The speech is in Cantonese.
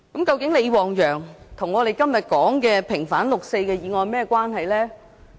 究竟李旺陽和我們今天所說的平反六四的議案有何關係？